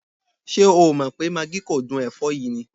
Ṣé o ò mọ̀ pé magí kò dún ẹ̀fọ́ yìí ni?